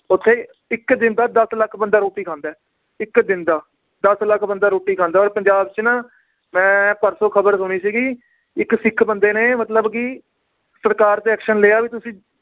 ਓਥੇ ਇੱਕ ਦਿਨ ਦਾ ਦੱਸ ਲੱਖ ਬੰਦਾ ਰੋਟੀ ਖਾਂਦਾ ਏ ਇੱਕ ਦਿਨ ਦਾ ਦੱਸ ਲਖ ਬੰਦਾ ਰੋਟੀ ਖਾਂਦਾ ਔਰ ਪੰਜਾਬ ਚ ਨਾ ਮੈ ਪਰਸੋਂ ਖਬਰ ਸੁਣੀ ਸੀਗੀ ਇੱਕ ਸਿੱਖ ਬੰਦੇ ਨੇ ਮਤਲਬ ਕਿ ਸਰਕਾਰ ਤੇ action ਲਿਆ ਵੀ ਤੁਸੀਂ